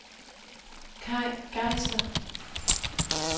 Kay Geisler